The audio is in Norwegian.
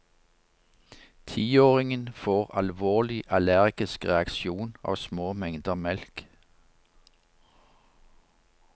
Tiåringen får alvorlig allergisk reaksjon av små mengder melk.